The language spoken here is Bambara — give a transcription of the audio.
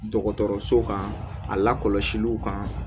Dɔgɔtɔrɔso kan a lakɔlɔsiliw kan